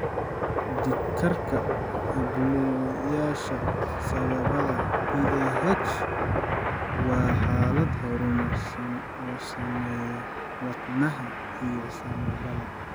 Dhiigkarka halbowlayaasha sambabada (PAH) waa xaalad horumarsan oo saameeya wadnaha iyo sambabada.